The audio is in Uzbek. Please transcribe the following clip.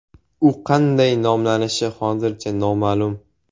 U qanday nomlanishi hozircha noma’lum.